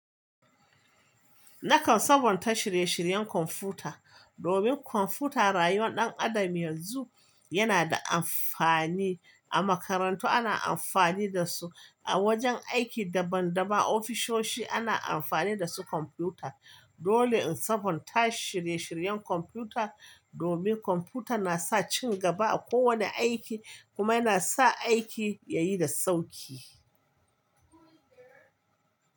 Nakan sabonta shirye-shiryen kwamfuta, domin kwamfuta rayuwar ɗan adam yanzu yana da amfani. A makarantu ana amfani da su, a wajen aiki daban-daban ofisoshi ana amfani da su kwamfuta. Dole in sabunta shirye-shiryen kwamfuta domin kwamfuta na sa cigaba a kowane aiki kuma yana sa aiki yayi da sauƙi.